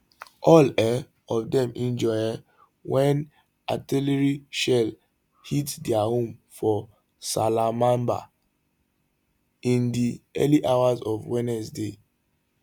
all um of dem injure um wen artillery shell hit dia home for salamabad in di early hours of wednesday